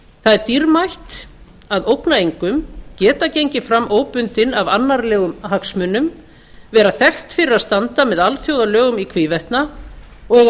það er dýrmætt að ógna engum geta gengið fram óbundin af annarlegum hagsmunum vera þekkt fyrir að standa með alþjóðalögum í hvívetna og eiga